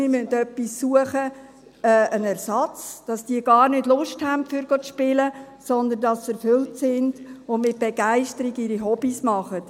Wir müssen etwas suchen, einen Ersatz, damit diese gar keine Lust haben, zu spielen, sondern dass sie erfüllt sind und mit Begeisterung ihren Hobbies nachgehen.